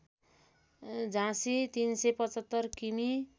झाँसी ३७५ किमि